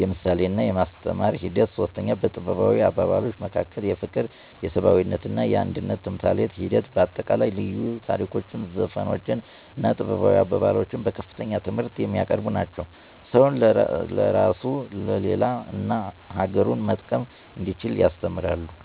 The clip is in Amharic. የምሳሌና የማስተማር ሒደት 3. በጥበባዊ አባባሎች መካከል የፍቅር የሰብአዊነትና የአንድነት ተምሳሌት ሒደት በአጠቃላይ ልዩ ታሪኮች ዘፈኖች እና ጥበባዊ አባባሎች በከፍተኛ ትምህርት የሚያቀርቡ ናቸው። ሰውን ለራሱ ለሌላ እና አገሩን መጠቀም እንዲችል ያስተምራሉ።